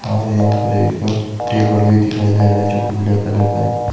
और यहां पर एक टेबल भी दिखाई दे रहा है जोकि ब्लैक कलर का है--